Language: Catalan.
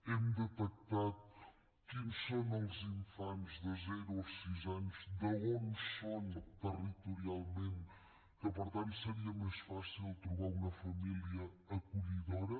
hem detectat quins són els infants de zero a sis anys d’on són territorialment que per tant seria més fàcil trobar los una família acollidora